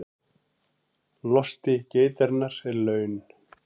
Losti geitarinnar er laun